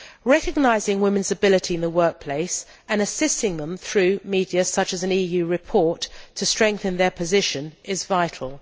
Recognising women's ability in the workplace, and assisting them through media such as an EU report to strengthen their position, is vital.